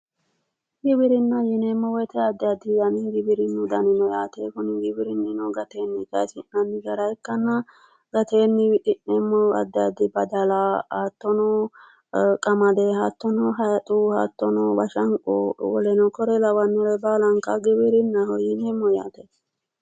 Giwirinna:-giwirinna yineemo woyite adi adi giwirinnu dani no yaate kuni giwirininno gateenni kayisi'nanni gara ikano gateeni wixineemmohu adi adi badala hattono qamadeno hatono hayixe bashanie lawanore kuri lawannore baallankare giwirinnaho yinanni